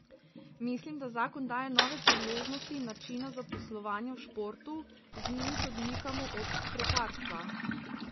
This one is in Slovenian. Mislim, da zakon daje nove priložnosti načina zaposlovanja v športu, z njimi se odmikamo od prekarstva.